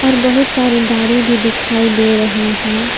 और बहुत सारी गाड़ी भी दिखाई दे रहें हैं।